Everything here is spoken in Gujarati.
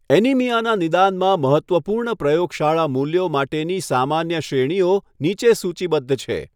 એનિમિયાના નિદાનમાં મહત્ત્વપૂર્ણ પ્રયોગશાળા મૂલ્યો માટેની સામાન્ય શ્રેણીઓ નીચે સૂચિબદ્ધ છે.